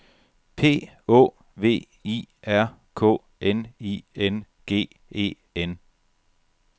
P Å V I R K N I N G E N